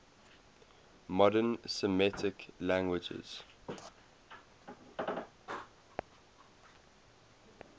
modern semitic languages